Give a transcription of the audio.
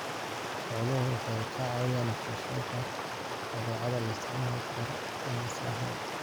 Xooluhu waxay ka caawiyaan wax soo saarka badeecadaha loo isticmaali karo ganacsi ahaan.